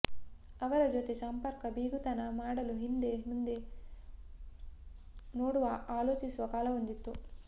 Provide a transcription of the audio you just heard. ಅವರ ಜೊತೆ ಸಂಪರ್ಕ ಬೀಗತನ ಮಾಡಲು ಹಿಂದೆ ಮುಂದೆ ನೋಡುವ ಆಲೋಚಿಸುವ ಕಾಲವೊಂದಿತ್ತು